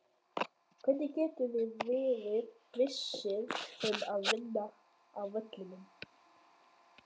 Hvernig getum við verið vissir um að vinna á vellinum?